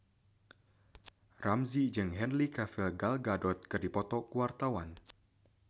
Ramzy jeung Henry Cavill Gal Gadot keur dipoto ku wartawan